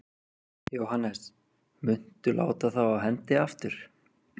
Jóhannes: Muntu láta þá af hendi aftur?